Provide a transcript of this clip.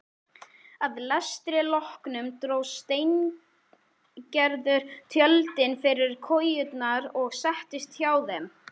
Að lestri loknum dró Steingerður tjöldin fyrir kojurnar og settist hjá þeim.